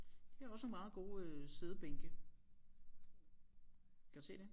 Det er også nogle meget gode øh siddebænke kan du se det